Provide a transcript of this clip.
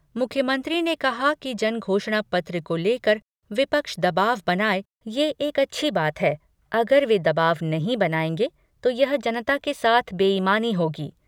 मुख्यमंत्री ने कहा कि जन घोषणा पत्र को लेकर विपक्ष दबाव बनाये, ये एक अच्छी बात है, अगर वे दबाव नहीं बनायेंगे तो यह जनता के साथ बेईमानी होगी।